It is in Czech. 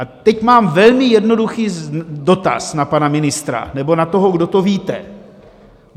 A teď mám velmi jednoduchý dotaz na pana ministra, nebo na toho, kdo to víte.